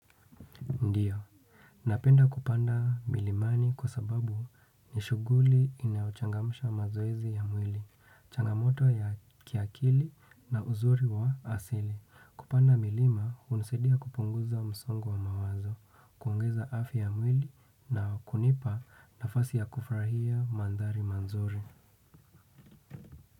Ndiyo. Napenda kupanda milimani kwa sababu nishuguli inayochangamsha mazoezi ya mwili, changamoto ya kiakili na uzuri wa asili. Kupanda milima unasaidia kupunguza msongo wa mawazo, kuongeza afya ya mwili na kunipa nafasi ya kufurahia maandhari manzuri.